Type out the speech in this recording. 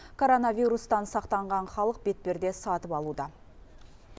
коронавирустан сақтанған халық бетперде сатып алуда